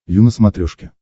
ю на смотрешке